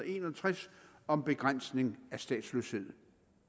en og tres om begrænsning af statsløshed